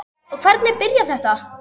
En hvernig byrjaði þetta?